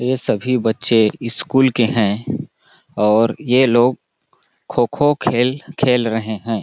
ये सभी बच्चे स्कूल के है और ये लोग खो-खो खेल खेल रहे है।